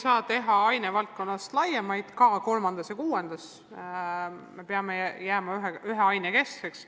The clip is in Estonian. Jah, ainevaldkonnast laiemaid teste ei saa teha ka 3. ja 6. klassis, me peame jääma ühe aine keskseks.